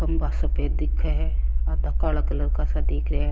खम्भा सफ़ेद दिखे आधा काला का सा दिख रहिया है।